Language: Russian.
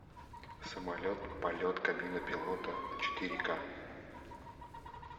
самолет полет кабина пилота четыре ка